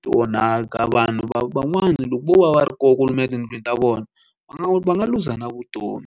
ti onhaka vanhu van'wana loko vo va va ri koho kumbe etindlwini ta vona va nga va nga luza na vutomi.